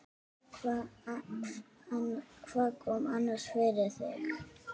Hvað kom annars fyrir þig?